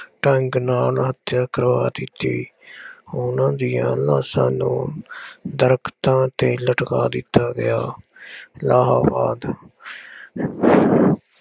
ਢੰਗ ਨਾਲ ਹੱਤਿਆ ਕਰਵਾ ਦਿੱਤੀ। ਉਹਨਾ ਦੀਆਂ ਲਾਸ਼ਾਂ ਨੂੰ ਦਰੱਖਤਾਂ ਤੇ ਲਟਕਾ ਦਿੱਤਾ ਗਿਆ। ਇਲਾਹਾਬਾਦ-